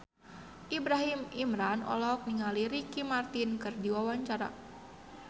Ibrahim Imran olohok ningali Ricky Martin keur diwawancara